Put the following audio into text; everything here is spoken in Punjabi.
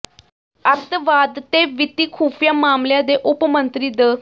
ਅੱਤਵਾਦ ਤੇ ਵਿੱਤੀ ਖੁਫ਼ੀਆ ਮਾਮਲਿਆਂ ਦੇ ਉਪ ਮੰਤਰੀ ਡ